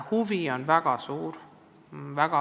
Huvi on väga suur.